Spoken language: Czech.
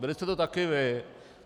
Byli jste to taky vy.